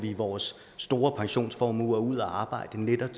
vores store pensionsformuer ud at arbejde netop